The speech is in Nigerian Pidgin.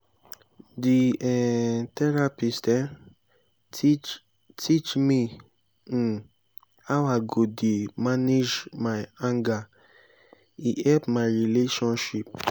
di um therapist um teach teach me um how i go dey manage my anger e help my relationship.